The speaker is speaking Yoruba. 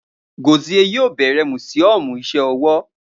Gozie yoo bẹrẹ musiọmu iṣẹ ọwọ